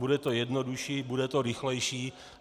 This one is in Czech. Bude to jednodušší, bude to rychlejší.